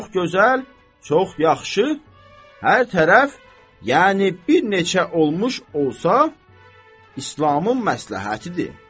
Çox gözəl, çox yaxşı, hər tərəf, yəni bir neçə olmuş olsa İslamın məsləhətidir.